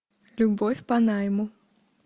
любовь по найму